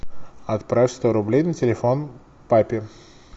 отправь сто рублей на телефон папе